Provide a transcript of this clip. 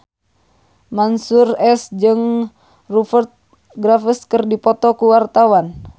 Mansyur S jeung Rupert Graves keur dipoto ku wartawan